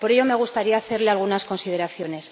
Por ello, me gustaría hacerle algunas consideraciones.